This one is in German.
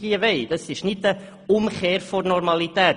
Wir wollen keine Umkehr der Normalität;